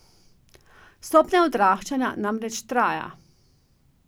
Stopnja odraščanja namreč traja.